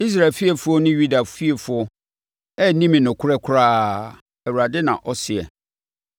Israel fiefoɔ ne Yuda fiefoɔ anni me nokorɛ koraa,” Awurade na ɔseɛ.